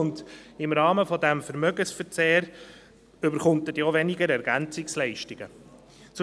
Im Rahmen dieses Vermögensverzehrs erhält er dann auch weniger EL.